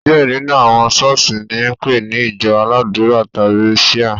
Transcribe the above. Diẹ nínú àwọn ṣọ̀ọ́sì ni a npe ni ìjọ aládùra tàbi Shia.